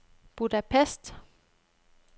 Budapest